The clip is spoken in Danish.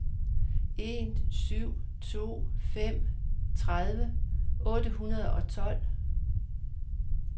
en syv to fem tredive otte hundrede og tolv